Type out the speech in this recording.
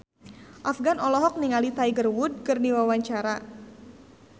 Afgan olohok ningali Tiger Wood keur diwawancara